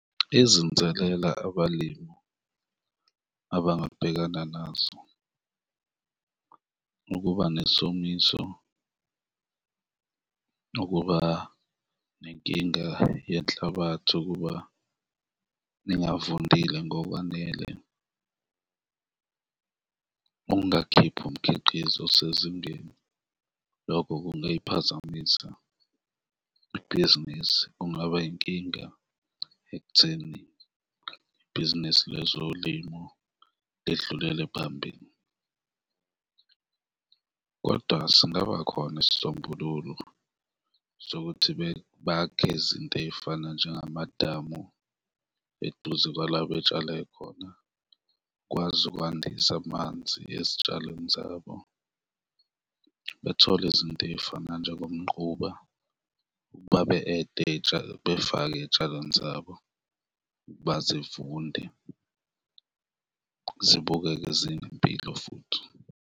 Izinselela abalimi abangabhekana nazo ukuba nesomiso nokuba nenkinga yenhlabathi ukuba ningavundile ngokwanele, ukungakhiphi umkhiqizo osezingeni, lokho kungayiphazamisa ibhizinisi, kungaba yinkinga ekutheni ibhizinisi lezolimo lidlulele phambili. Kodwa singaba khona isisombululo sokuthi bhakhe izinto ey'fana njengamadamu eduze kwala betshale khona, kwazi ukwandisa amanzi ezitshalweni zabo, bethole izinto ey'fana njengomquba, befake ey'tshalweni zabo ukuba zivunde zibukeke zinempilo futhi.